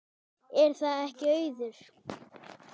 Er það ekki Auður?